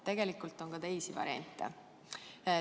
Tegelikult on ka teisi variante.